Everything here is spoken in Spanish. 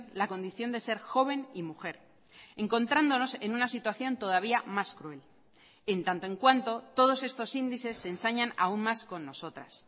la condición de ser joven y mujer encontrándonos en una situación todavía más cruel en tanto en cuanto todos estos índices se ensañan aun más con nosotras